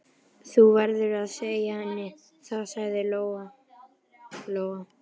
Þú verður að segja henni það, sagði Lóa-Lóa.